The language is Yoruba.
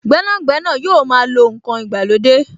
Gbẹ́nàgbẹ́nà yóò máa lo n kan ìgbàlódé